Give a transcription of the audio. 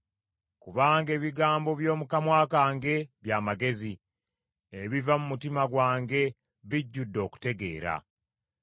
Kubanga ebigambo by’omu kamwa kange bya magezi, ebiva mu mutima gwange bijjudde okutegeera.